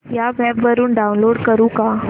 या वेब वरुन डाऊनलोड करू का